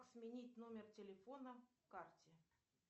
сменить номер телефона к карте